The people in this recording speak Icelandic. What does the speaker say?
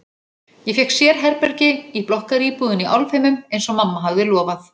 Ég fékk sérherbergi í blokkaríbúðinni í Álfheimum eins og mamma hafði lofað.